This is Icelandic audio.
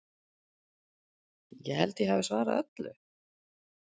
Ég held ég hafi svarað öllu?